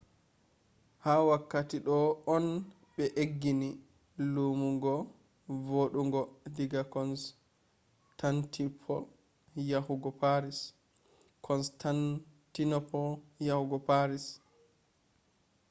ha wakkati do on be aggini lammumgo vodogo diga constantinople yahugo paris